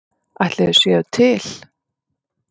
Ætli þau séu til?